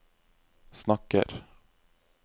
snakker